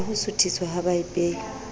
ya ho suthiswa ha baipehi